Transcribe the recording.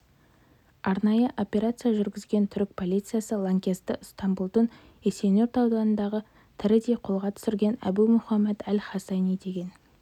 арнайы операция жүргізген түрік полициясы лаңкесті ыстамбұлдың есенюрт ауданында тірідей қолға түсірген әбу мұхаммед әл-хорасани деген